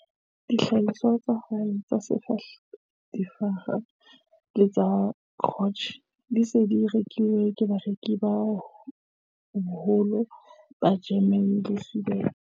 Dihlahiswa tsa hae tsa difaha le tsa dikrotjhe di se di rekilwe ke bareki ba bohole ba Jeremane le Sweden.